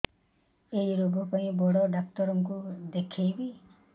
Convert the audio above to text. ଏଇ ରୋଗ ପାଇଁ କଉ ଡ଼ାକ୍ତର ଙ୍କୁ ଦେଖେଇବି